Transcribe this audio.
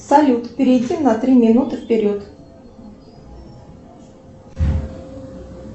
салют перейти на три минуты вперед